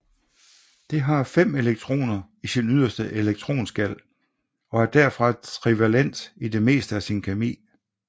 Det har fem elektroner i sin yderste elektronskal og er derfor trivalent i det meste af sin kemi